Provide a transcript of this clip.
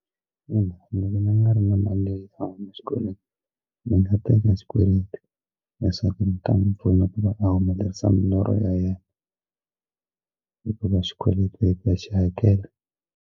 Ina, mali loko ni nga ri na mali xikwolweni ni nga teka xikweleti leswaku yi ta ni pfuna ku va a humelerisa milorho ya yena hikuva xikweleti hi ta xi hakela.